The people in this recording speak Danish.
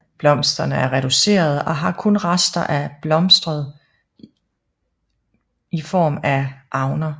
Blomsterne er reducerede og har kun rester af blostret i form af avner